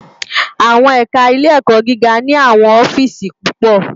Awòn ẹká Ilé Èkò gigá ni áwòn òfìsí púpò